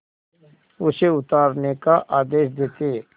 उसे उतारने का आदेश देते